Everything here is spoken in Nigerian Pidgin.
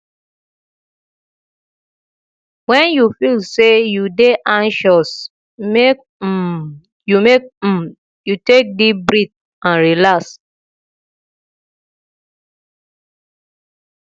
wen you feel sey you dey anxious make um you make um you take deep breath and relax